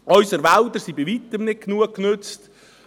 Unsere Wälder sind bei Weitem nicht genug genutzt.